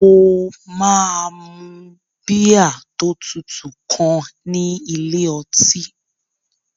Mo máa mu bíà tó tutù kan ní ilé ọtí